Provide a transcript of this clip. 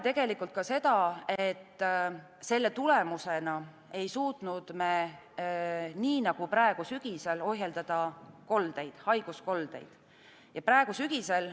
Selle tulemusena ei suutnud me ohjeldada haiguskoldeid nii nagu praegu, sügisel.